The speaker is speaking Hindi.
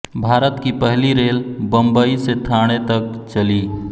भारत की पहली रेल बंबइ से थाणे तक चली